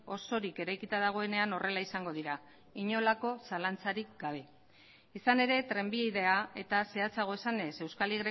osorik eraikita dagoenean horrela izango dira inolako zalantzarik gabe izan ere trenbidea eta zehatzago esanez euskal